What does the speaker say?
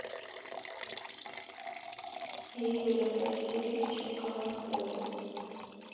игорем васильевичем колмыковым